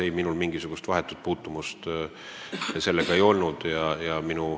Ei, minul sellega mingisugust vahetut puutumust ei olnud.